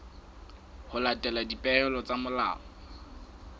ho latela dipehelo tsa molao